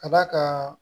Ka d'a kan